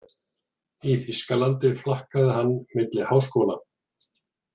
Í Þýskalandi flakkaði hann milli háskóla.